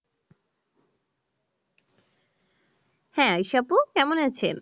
হ্যাঁ ঈশা আপু কেমন আছেন?